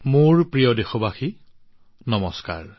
মোৰ মৰমৰ দেশবাসীসকল নমস্কাৰ